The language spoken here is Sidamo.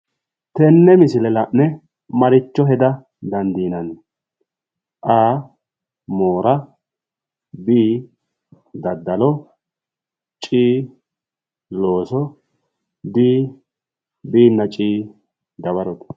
Tenne misile la'ne maricho heda dandiinanni? A. Moora B. Daddalo C.looso D C nna D dawarote